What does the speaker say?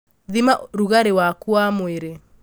thima rugarĩ waku wa mwĩrĩ